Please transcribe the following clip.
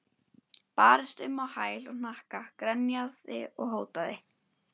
Barðist um á hæl og hnakka, grenjaði og hótaði.